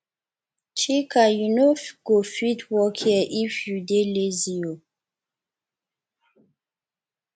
chika you no go fit work here if you dey lazy oo